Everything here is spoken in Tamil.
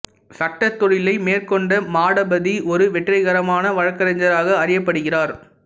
சட்டத் தொழிலை மேற்கொண்ட மாடபதி ஒரு வெற்றிகரமான வழக்கறிஞராக அறியப்படுகிறார்